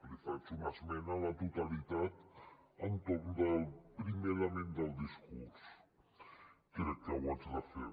li faig una esmena a la totalitat entorn del primer element del discurs crec que ho haig de fer